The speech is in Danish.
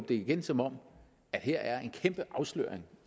det igen som om der her er en kæmpe afsløring